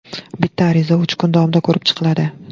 Bitta ariza uch kun davomida ko‘rib chiqiladi.